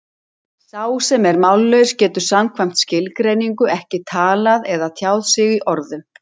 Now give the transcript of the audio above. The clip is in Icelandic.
Sá sem er mállaus getur samkvæmt skilgreiningu ekki talað eða tjáð sig í orðum.